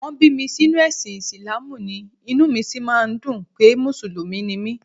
Wọ́n bí mi sínú ẹ̀sìn Ìsìláàmù ni, inú mi sì máa ń dùn pé Mùsùlùmí ni mí